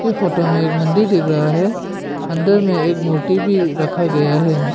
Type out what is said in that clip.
ये फोटो में एक मंदिर दिख रहा है अंदर में एक मूर्ति भी रखा गया है।